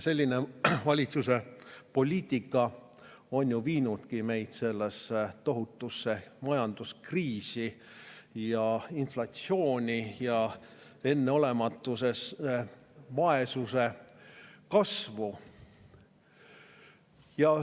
Selline valitsuse poliitika on viinud meid tohutusse majanduskriisi, inflatsiooni ja enneolematusse vaesuse kasvu.